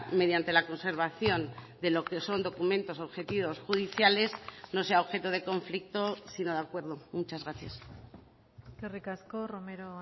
mediante la conservación de lo que son documentos objetivos judiciales no sea objeto de conflicto sino de acuerdo muchas gracias eskerrik asko romero